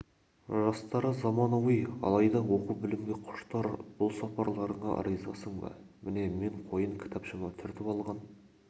жастары заманауи алайда оқу-білімге құштар бұл сапарларыңа ризасың ба міне мен қойын кітапшама түртіп алған